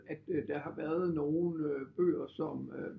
At der har været nogen bøger som øh